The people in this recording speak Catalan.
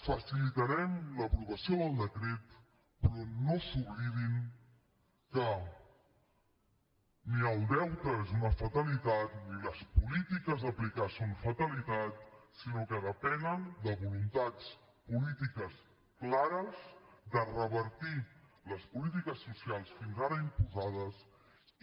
facilitarem l’aprovació del decret però no s’oblidin que ni el deute és una fatalitat ni les polítiques a aplicar son fatalitat sinó que depenen de voluntats polítiques clares de revertir les polítiques socials fins ara imposades i